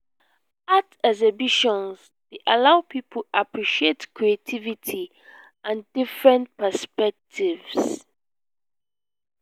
art exhibitions dey allow people appreciate creativity and different perspectives.